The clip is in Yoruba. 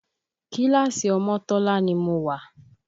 Kíláàsì Omotola ni mo wà